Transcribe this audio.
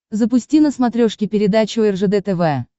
запусти на смотрешке передачу ржд тв